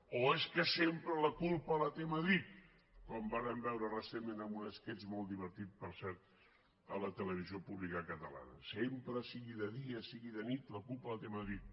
o és que sempre la culpa la té madrid com vàrem veure recentment en un esquetx molt divertit per cert a la televisió pública catalana sempre sigui de dia sigui de nit la culpa la té madrid